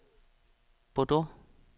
Bordeaux